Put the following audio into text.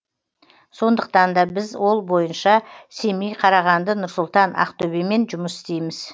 сондықтан да біз ол бойынша семей қарағанды нұр сұлтан ақтөбемен жұмыс істейміз